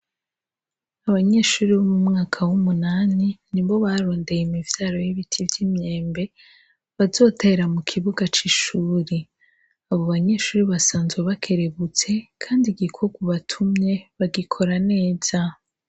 Abanyeshuri b'umumwaka w'umunani ni bo barondeye imivyaro y'ibiti vy'imyembe bazotera mu kibuga c'ishuri abo banyeshuri basanzwe bakerebutse, kandi igikorwa batumye bagikora neza.